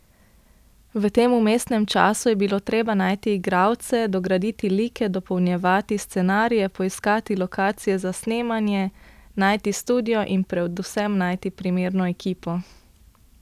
V tem vmesnem času je bilo treba najti igralce, dograditi like, dopolnjevati scenarije, poiskati lokacije za snemanje, najti studio in predvsem najti primerno ekipo.